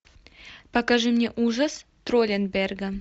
покажи мне ужас тролленберга